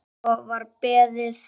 Svo var beðið.